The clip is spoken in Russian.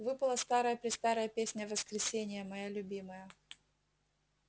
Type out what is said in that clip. выпала старая-престарая песня воскресения моя любимая